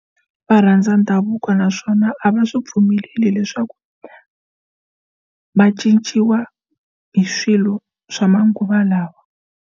Va rhandza ndhavuko naswona a va swi pfumeleli leswaku va cinciwa hi swilo swa manguva lawa.